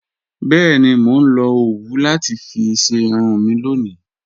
Bẹẹni, mó nlọ owú láti fí ṣẹ irun mi lọ́ni